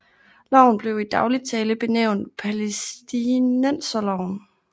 Loven blev i dagligt tale benævnt Palæstinenserloven